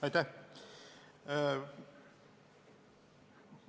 Aitäh!